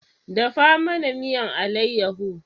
Dafa mana miyan alayaho